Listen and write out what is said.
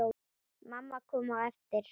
Mamma kom á eftir.